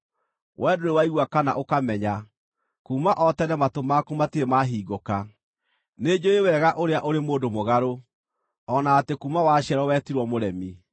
Wee ndũrĩ waigua kana ũkamenya; kuuma o tene matũ maku matirĩ mahingũka. Nĩnjũũĩ wega ũrĩa ũrĩ mũndũ mũgarũ, o na atĩ kuuma waciarwo wetirwo mũremi.